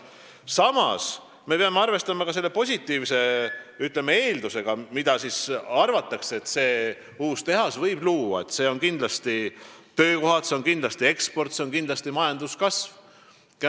Samas, me peame arvestama ka positiivsete eeldustega, mida uus tehas võib luua – kindlasti töökohad, eksport ja majanduskasv.